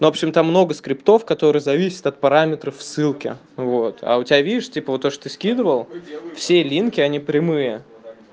в общем там много скриптов который зависит от параметров в ссылке вот а у тебя вижу типа то что ты скидывал все линки они прямые